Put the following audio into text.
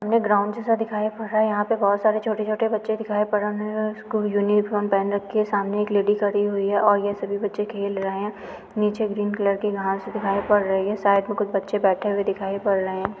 हमें ग्राउंड जैसा दिखाई पड़ रहा है। यहाँ पे बोहोत सारे छोटे-छोटे बच्चे दिखाई पड़ रहे हैं स्कूल यूनिफार्म पहन रखी है सामने एक लेडी खड़ी हुई है और ये सभी बच्चे खेल रहे हैं नीचे ग्रीन कलर की घास दिखाई पड़ रही है साइड में कुछ बच्चे बैठे हुए दिखाई पड़ रहे हैं।